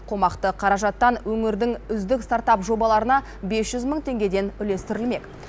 қомақты қаражаттан өңірдің үздік стартап жобаларына бес жүз мың теңгеден үлестірілмек